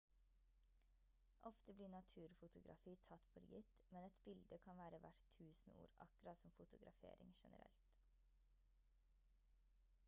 ofte blir naturfotografi tatt for gitt men et bilde kan være verdt tusen ord akkurat som fotografering generelt